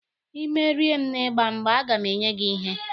Ị merie m na ịgba mgba, a ga m enye gị ihe